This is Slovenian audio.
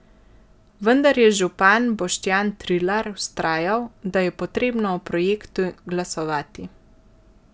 Vendar je župan Boštjan Trilar vztrajal, da je potrebno o projektu glasovati.